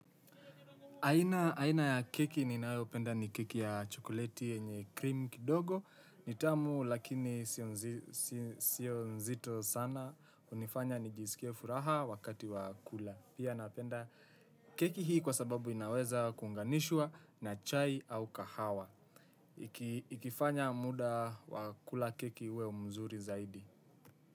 Aina ya keki ninayopenda ni keki ya chokoleti yenye krimu kidogo, ni tamu lakini sio nzito sana, hunifanya nijisikie furaha wakati wa kula. Pia napenda keki hii kwa sababu inaweza kuunganishwa na chai au kahawa. Ikifanya muda wa kula keki uwe mzuri zaidi.